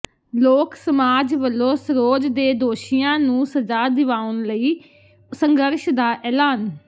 ਲੋਕ ਸਮਾਜ ਵੱਲੋਂ ਸਰੋਜ ਦੇ ਦੋਸ਼ੀਆਂ ਨੂੰ ਸਜ਼ਾ ਦਿਵਾਉਣ ਲਈ ਸੰਘਰਸ਼ ਦਾ ਐਲਾਨ